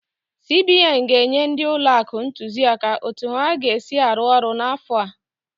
CBN ga-enye ndị ụlọ akụ ntụziaka otu ha ga-esi arụ ọrụ n'afọ a.